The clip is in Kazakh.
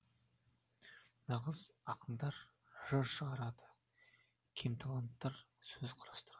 нағыз ақындар жыр шығарады кемталанттар сөз құрастырады